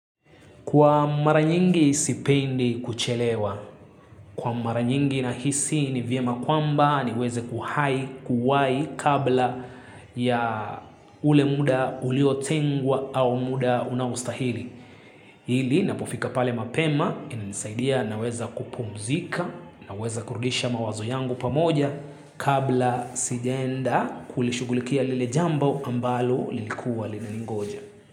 Kwa mara nyingi sipendi kuchelewa. Kwa mara nyingi nahisi ni vyema kwamba niweze kuhai, kuwai kabla ya ule muda uliotengwa au muda unaostahili. Ili napofika pale mapema inanisaidia naweza kupumzika naweza kurudisha mawazo yangu pamoja kabla sijaenda kulishugulikia lile jambo ambalo lilikuwa linaningoja.